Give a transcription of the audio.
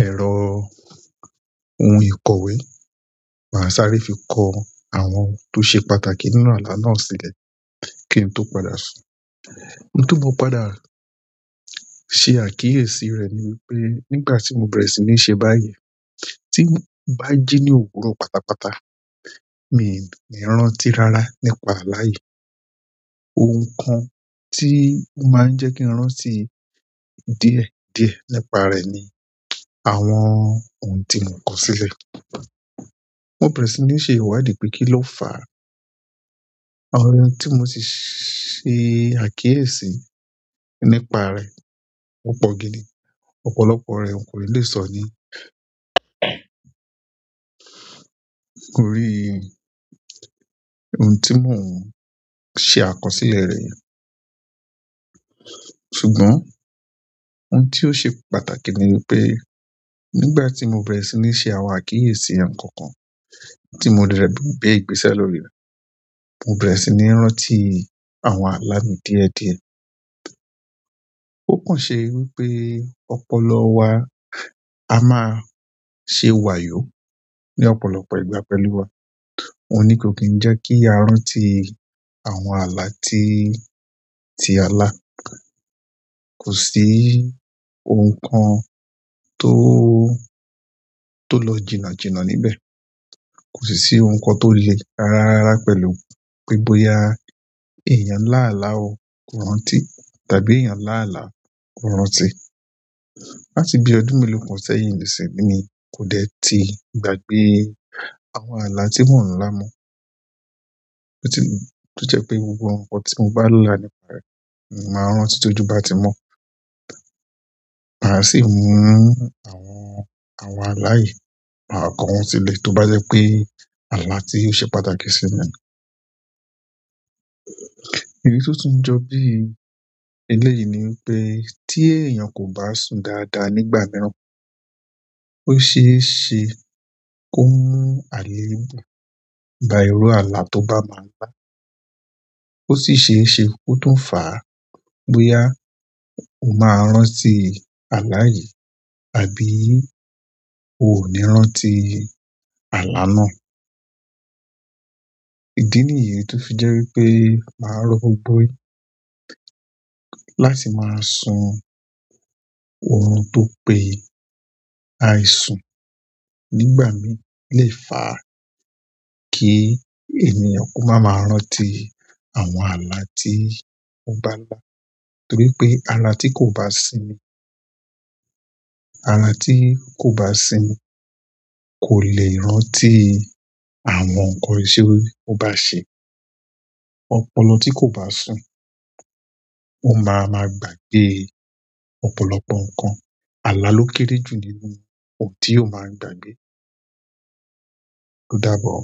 ẹ̀rọ ohun ìkọ̀wé, màá sáré fi kọ àwọn tó ṣe pàtàkì nínú àla náà sílẹ̀ kí n tó padà sùn. Ohun tí mo padà ṣe àkíyèsí rẹ̀ ni wípé nígbà tí mo bẹ̀rẹ̀ sí ní ṣe báyìí, tí mo bá jí ní òwúrọ̀ pátápátá, mi ò ní rántí rárá nípa alá yi. Ohun kan tí ó máa ń jẹ́ kí n rántí díẹ̀ díẹ̀ nípa rẹ̀ ni àwọn ohun tí mò kọ sílẹ̀. Mo bẹ̀rẹ̀ sí ní ṣe ìwádìí pé kí ló fà á. Àwọn ohun tí mo sì ṣe àkíyèsí nípa rẹ̀ o pọ̀ gidi. Ọ̀pọ̀lọpọ̀ rẹ̀ ni kò ni lè sọ ní kò rí ọ̀un tí mò ń ṣe àkọsílẹ̀ rẹ̀. Ṣùgbọ́n ohun tí ó ṣe pàtàkì ni wípé nígbà tí mo bẹ̀rẹ̀ sí ní ṣe àwọn àkíyèsí nkan kan tí mo de gbe ìgbésẹ̀ lórí, mo bẹ̀rẹ̀ sí ní rántí àwọn àlá mi díẹ̀ díẹ̀. Ó pọ̀n ṣe wípé ọ̀pọ̀lọ wa á máa ṣe wà yó ní ọ̀pọ̀lọpọ̀ ìgbà pẹ̀lú wa. Oun ní kò kí ń jẹ́ kí a rántí àwọn àlá tí, tí a lá. Kò sí ohun kan tó, tó lọ jìnà jìnà níbẹ̀. Kò sì sí ohun kan tó le rara rara pẹ̀lú pé bóyá èèyàn láàlá ò kò rántí tàbí èèyàn láàlá kò rántí. Láti bí ọdún mélòó kan sẹ́yìn nísìnyi, kò dẹ́ ti gbàgbé àwọn àlá tí mò ń lá mọ̀. Je pe gbogbo nǹkan ti n ba la nípa e, ni mo ma n rántí ti ojú ba ti mo màá sì mú àwọn, àwọn alá yi, ma ko wọn sílẹ̀ tó bá jẹ́ pé àlá tí ó ṣe pàtàkì sí mi. Èyí tó tún jọ bí i eléyìí ni wípé tí èèyàn kò bá sùn dáadáa nígbà mìíràn, ó ṣe é ṣe kó mú àlè mú bá irú àlá tó bá máa lá. Ó sì ṣe é ṣe kó tún fà á bóyá ó máa rántí àlá yìí tàbí ó ò ní rántí àlá náà. Ìdí nìyí tó fi jẹ́ wípé màá rọ gbógbo yin láti máa sùn. Orun tó pe ye àìsùn nígbà mìí lè fàá kí èèyàn kó máa ma rántí àwọn àlá tí ó bá lá. Torí pe ara ti ko ba sinmi, ara ti ko ba sinmi, ko le rántí àwọn nǹkan to ba se. Ọ̀pọ̀lọ tí kò bá sùn, ó máa ma gbàgbé ọ̀pọ̀lọpọ̀ nǹkan. Àlà ló kéré jù nínú ohun tí yóò máa ń gbàgbé. Ó dábọ̀ o.